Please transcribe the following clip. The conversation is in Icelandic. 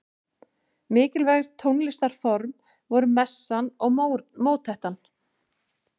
Mikilvæg tónlistarform voru messan og mótettan.